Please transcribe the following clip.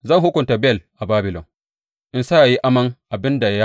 Zan hukunta Bel a Babilon, in sa ya yi aman abin da ya haɗiye.